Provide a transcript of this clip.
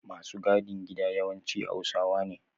Masu gadin gida yawanci hausawa ne